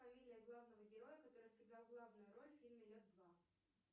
фамилия главного героя который сыграл главную роль в фильме лед два